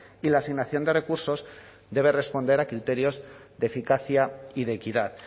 y la asignación de recursos debe responder a criterios de eficacia y de equidad